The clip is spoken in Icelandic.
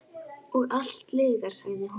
Og allt lygar, sagði hún.